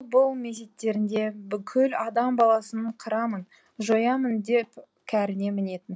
бұл мезеттерінде бүкіл адам баласын қырамын жоямын деп кәріне мінетін